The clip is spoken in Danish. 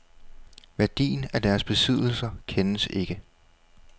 Værdien af deres besiddelser kendes ikke.